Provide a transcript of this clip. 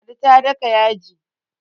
ladi ta daka yaji